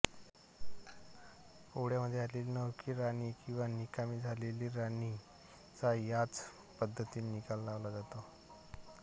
पोळ्यामध्ये आलेली नवखी राणी किंवा निकामी झालेल्या राणीचा याच पद्धतीने निकाल लावला जातो